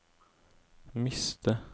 miste